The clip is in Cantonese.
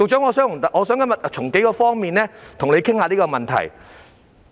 我今天想從數方面與局長討論這問題。